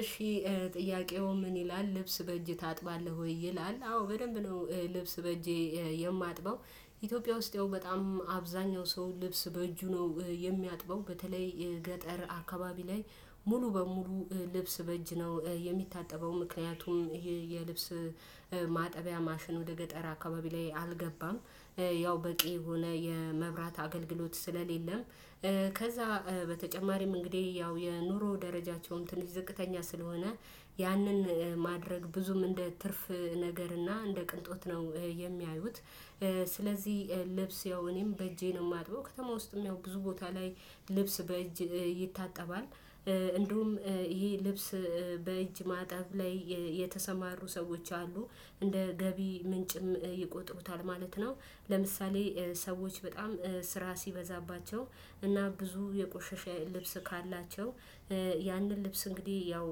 እሺ ጥያቄው ምን ይላል ልብስ በእጅ ታጥባለህ ወይ? ይላል አዎ በደንብ ነው ልብስ በእጄ የማጥበው። ኢትዮጵያ ውስጥ ያው በጣም አብዛኛው ሰው ልብስ በእጁ ነው የሚያጥበው በተለይ ገጠር አካባቢ ላይ ሙሉ በሙሉ ልብስ በእጅ ነው የሚታጠበው ምክንያቱም ይሄ የልብስ ማጠቢያ ማሽን ወደ ገጠራ አካባቢ ላይ አልገባም። ያው በቂ የሆነ የመብራት አገልግሎት ስለሌለም ከዛ በተጨማሪም እንግዲህ ያው የኑሮ ደረጃቸውን ትንሽ ዝቅተኛ ስለሆነ ያንን ማድረግ ብዙም እንደ ትርፍ ነገርና እንደ ቅንጦት ነው የሚያዩት። ስለዚህ ልብስ ያው እኔም በእጄ ነው የማጥበው ከተማ ውስጥም ያው ብዙ ቦታ ላይ ልብስ በእጅ ይታጠባል እንደውም ይሄ ልብስ በእጅ ማጠብ ላይ የተሰማሩ ሰዎች አሉ እንደ ገቢ ምንጭም ይቆጥሩታል ማለት ነው። ለምሳሌ ሰዎች በጣም ስራ ሲበዛባቸው እና ብዙ የቆሸሸ ልብስ ካላቸው ያንን ልብስ እንግዲህ ያው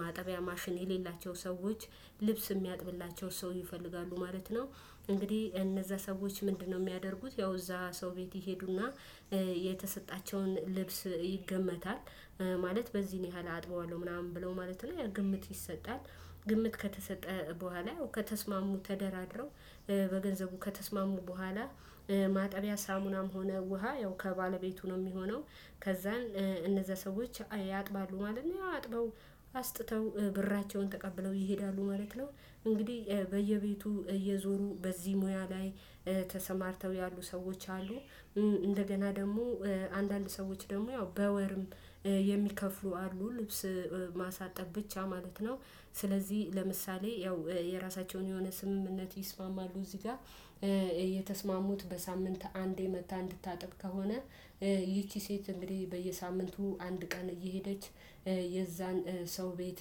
ማጠቢያ ማሽን የሌላቸው ሰዎች ልብስ የሚያጥብላቸው ሰው ይፈልጋሉ ማለት ነው። እንግዲህ እነዛ ሰዎች ምንድነው የሚያደርጉት ያው እዛ ሰው ቤት ይሄዱና የተሰጣቸውን ልብስ ይገመታል ማለት በዚህን ያህል አጥበዋለሁ ምናምን ብለው ማለት ላይ ግምት ይሰጣል። ግምት ከተሰጠ በኋላ ከተስማሙ ተደራድረው በገንዘቡ ከተስማሙ በኋላ ማጠቢያ ሳሙናም ሆነ ውሃ ያው ከባለቤቱ ነው የሚሆነው። ከዛን እነዛ ሰዎች ያጥባሉ ማለት ነው ያው አጥበው አስጥተው ብራቸውን ተቀብለው ይሄዳሉ ማለት ነው። እንግዲህ በየቤቱ እየዞሩ በዚህ ሙያ ላይ ተሰማርተው ያሉ ሰዎች አሉ፤ እንደገና ደግሞ አንዳንድ ሰዎች ደግሞ ያው በወርም የሚከፍሉ አሉ ልብስ ማሳጠብ ብቻ ማለት ነው። ስለዚህ ለምሳሌ ያው የራሳቸውን የሆነ ስምምነት ይስማማሉ እዚህ ጋር የተስማሙት በሳምንት አንዴ መጥታ እንድታጥብ ከሆነ ይቺ ሴት እንግዲህ በየሳምንቱ አንድ ቀን እየሄደች የዛን ሰው ቤት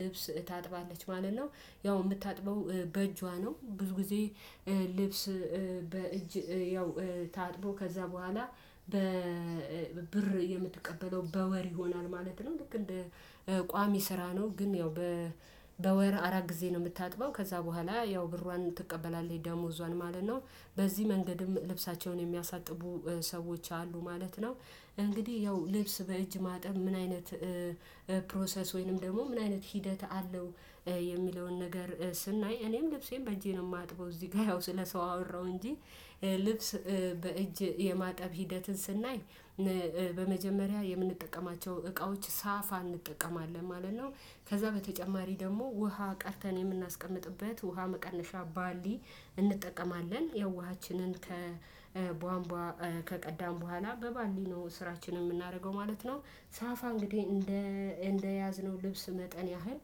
ልብስ ታጥባለች ማለት ነው። ያው የምታጥበው በእጇ ነው ብዙ ጊዜ ልብስ በእጅ ያው ታጥቦ ከዛ በኋላ በብር የምትቀበለው በወር ይሆናል ማለት ነው ልክ እንደ ቋሚ ስራ ነው ግን ያው በወር አራት ጊዜ ነው የምታጥበው ከዛ በኋላ ያው ብሯን ትቀበላለህ ደሞዟን ማለት ነው፤ በዚህ መንገድም ልብሳቸውን የሚያሳጥቡ ሰዎች አሉ ማለት ነው። እንግዲህ ያው ልብስ በእጅ ማጠብ ምን አይነት ፕሮሰስ ወይንም ደግሞ ምን አይነት ሂደት አለው? የሚለውን ነገር ስናይ እኔም ልብሴን በእጄ ነው የማጥበው እዚህ ጋር ያው ስለሰው አወራሁ እንጂ ልብስ በእጅ የማጠብ ሂደትን ስናይ በመጀመሪያ የምንጠቀማቸው እቃዎች ሳፋ እንጠቀማለን ማለት ነው። ከዛ በተጨማሪ ደግሞ ውሃ ቀርተን የምናስቀምጥበት ውሃ መቀነሻ ባሊ እንጠቀማለን ያው ውሃችንን ከቧንቧ ከቀዳን በኋላ በባሊ ነው ስራችን የምናደርገው ማለት ነው። ሳፋ እንግዲህ እንደ እንደያዝነው ልብስ መጠን ያህል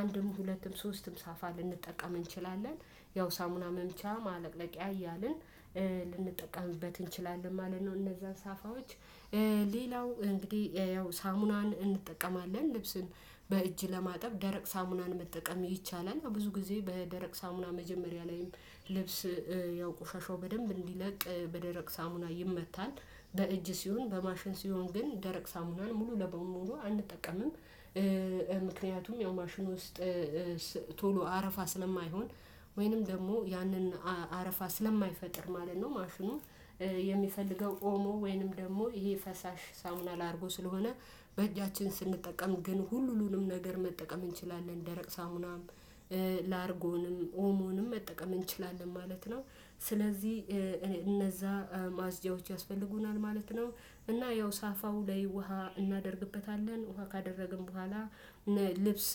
አንድም ሁለትም ሶስትም ሳፋ ልንጠቀም እንችላለን። ያው ሳሙና መምቻ ማለቅለቂያ እያልን ልንጠቀምበት እንችላለን ማለት ነው። እነዛ ሳፋዎች ሌላው እንግዲህ ያው ሳሙናን እንጠቀማለን ልብስን በእጅ ለማጠብ ደረቅ ሳሙናን መጠቀም ይቻላል ብዙ ጊዜ በደረቅ ሳሙና መጀመሪያ ላይም ልብስ ያው ቆሻሻው በደንብ እንዲለቅ በደረቅ ሳሙና ይመታል። በእጅ ሲሆን በማሽን ሲሆን ግን ደረቅ ሳሙናን ሙሉ ለሙሉ አንጠቀምም። ምክንያቱም ያው ማሽን ውስጥ ቶሎ አረፋ ስለማይሆን ወይንም ደግሞ ያንን አረፋ ስለማይፈጥር ማለት ነው ማሽኑ የሚፈልገው ኦሞ ወይንም ደግሞ ይሄ ፈሳሽ ሳሙና ላርጎ ስለሆነ በእጃችን ስንጠቀም ግን ሁሉንም ነገር መጠቀም እንችላለን ደረቅ ሳሙናም ላርጎንም ኦሞንም መጠቀም እንችላለን ማለት ነው። ስለዚህ እኔ እነዛ ማጽጃዎች ያስፈልጉናል ማለት ነው። እና ያው ሳፋው ላይ ውሃ እናደርግበታለን ውሃ ካደረግን በኋላ ልብስ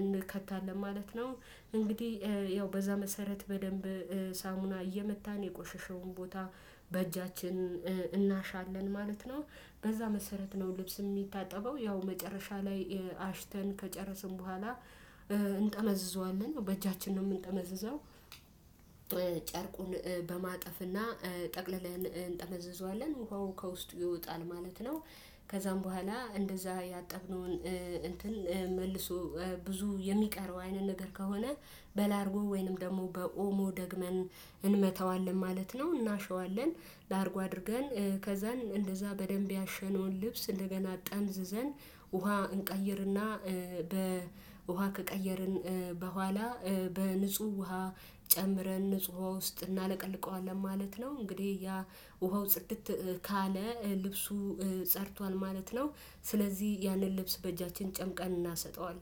እንከታለን ማለት ነው። እንግዲህ ያው በዛ መሰረት በደንብ ሳሙና እየመታን የቆሸሸውን ቦታ በእጃችን እናሻለን ማለት ነው። በዛ መሰረት ነው ልብስ የሚታጠበው ያው መጨረሻ ላይ አሽተን ከጨረስን በኋላ እንጠመዝዘዋለን በእጃችን ነው የምንጠመዝዘው የምንጠመዘዘው ጨርቁን በማጠፍና ጠቅለላዬን እንጠመዘዘዋለን ውሃው ከውስጥ ይወጣል ማለት ነው። ከዛም በኋላ እንደዛ ያጠብነውን እንትን መልሶ ብዙ የሚቀረው አይነት ነገር ከሆነ በላርጎ ወይንም ደግሞ በኦሞ ደግመን እንመተዋለን ማለት ነው። እናሸዋለን ላርጉ አድርገን ከዛን እንደዛ በደንብ ያሸነውን ልብስ እንደገና ጠምዝዘን ውሃ እንቀይርና በውሃ ከቀየርን በኋላ በንጹህ ውሃ ጨምረን ንጹህ ውሃ ውስጥ እናለቀልቀዋለን ማለት ነው። እንግዲህ ያ ውሃው ጽድት ካለ ልብሱ ጸርቷል ማለት ነው። ስለዚህ ያንን ልብስ በእጃችን ጨምቀን እናሰጠዋለን።